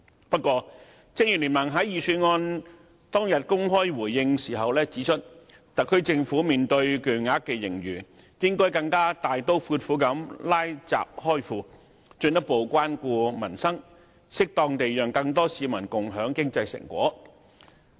不過，正如聯盟在預算案出爐當日公開回應時指出，特區政府面對巨額盈餘，應該更大刀闊斧"拉閘開庫"，進一步關顧民生，適當地讓更多市民共享經濟成果。